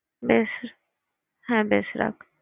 বেশ হ্যাঁ বেশ রাখ।